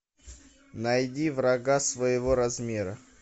найди врага своего размера